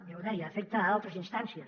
ja ho deia afecta altres instàncies